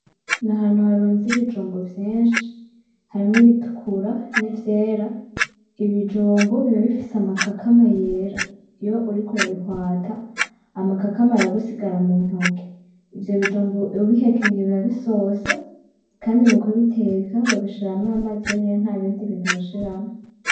N'ahantu harunze ibijumbu vyinshi harimwo ibitukura n'ivyera, ibijumbu biba bifise amakakama yera, iyo uriko urabihwata amakakama aragusigara mu ntoke, ivyo bijumbu ubihekenye biba bisosa kandi mu kubiteka babishiramwo amazi yonyene ntabindi bintu bashiramwo.